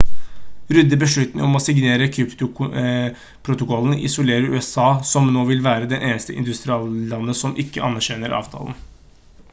rudds beslutning om å signere kyotoprotokollen isolerer usa som nå vil være det eneste industrilandet som ikke anerkjenner avtalen